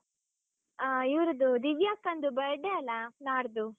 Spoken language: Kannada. ಹಾ ಇವರದ್ದು, ದಿವ್ಯ ಅಕ್ಕಂದು birthday ಅಲ್ಲಾ ನಾಡ್ದು.